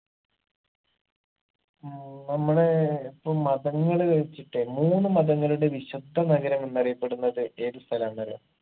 ഏർ നമ്മടെ ഇപ്പം മതങ്ങള് വെച്ചിട്ടെ മൂന്ന് മതങ്ങളുടെ വിശുദ്ധ നഗരം എന്നറിയപ്പെടുന്നത് ഏത് സ്ഥലാന്നറിയോ